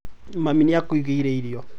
Mami nĩ agwĩkĩrĩire irio.